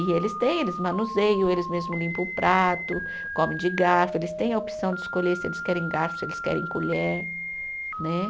E eles têm, eles manuseiam, eles mesmo limpa o prato, come de garfo, eles têm a opção de escolher se eles querem garfo, se eles querem colher, né?